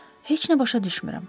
Heç nə başa düşmürəm.